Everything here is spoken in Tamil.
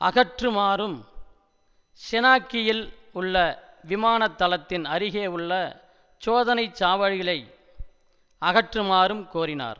அகற்றுமாறும் செனாகியில் உள்ள விமானத்தளத்தின் அருகே உள்ள சோதனை சாவடிகளை அகற்றுமாறும் கோரினார்